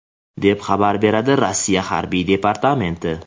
deb xabar beradi Rossiya harbiy departamenti.